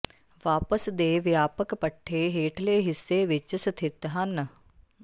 ਵਾਪਸ ਦੇ ਵਿਆਪਕ ਪੱਠੇ ਹੇਠਲੇ ਹਿੱਸੇ ਵਿੱਚ ਸਥਿਤ ਹਨ